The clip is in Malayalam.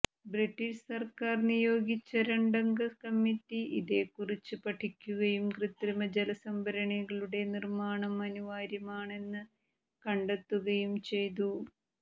ബ്രിട്ടീഷ് സർക്കാർ നിയോഗിച്ച രണ്ടംഗ കമ്മിറ്റി ഇതേക്കുറിച്ച് പഠിക്കുകയും കൃതൃമജലസംഭരണികളുടെ നിർമ്മാണം അനിവാര്യമാണെന്ന് കണ്ടെത്തുകയും ചെയ്തു